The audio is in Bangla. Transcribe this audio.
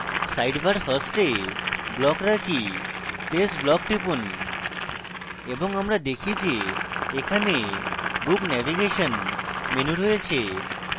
sidebar first এ block রাখি place block টিপুন এবং আমরা দেখি যে এখানে book navigation menu রয়েছে